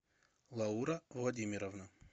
лаура владимировна